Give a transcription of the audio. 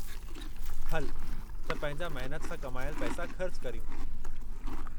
हलु त पंहिंजा महिनत सां कमायल पैसा ख़र्च करियूं।